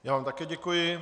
Já vám také děkuji.